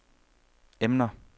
emner